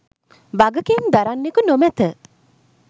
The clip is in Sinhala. වගකීම් දරන්නෙකු නොමැත.